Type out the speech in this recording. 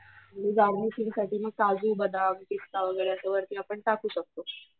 आणि गार्निशिंग साठी मग काजू, बदाम, पिस्ता वगैरे असं वरती आपण टाकूं शकतो.